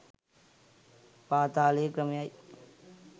පාතාලයේ ක්‍රමයයි.